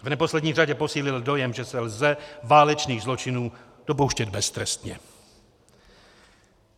V neposlední řadě posílil dojem, že se lze válečných zločinů dopouštět beztrestně.